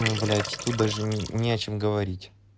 блять тут даже не о чем говорить